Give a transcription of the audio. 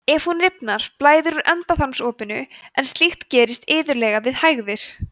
ef hún rifnar blæðir úr endaþarmsopinu en slíkt gerist iðulega við hægðir